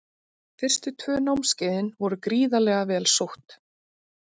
Fyrstu tvö námskeiðin voru gríðarlega vel sótt.